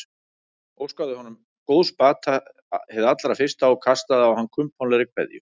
Óskaði honum góðs bata hið allra fyrsta og kastaði á hann kumpánlegri kveðju.